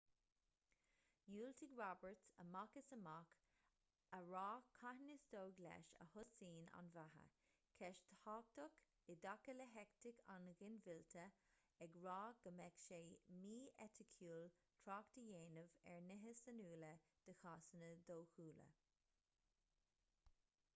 dhiúltaigh roberts amach is amach a rá cathain is dóigh leis a thosaíonn an bheatha ceist thábhachtach i dtaca le heitic an ghinmhillte ag rá go mbeadh sé mí-eiticiúil trácht a dhéanamh ar nithe sainiúla de chásanna dóchúla